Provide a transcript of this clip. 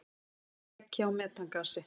Leki á metangasi.